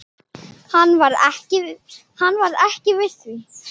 Hann varð ekki við því.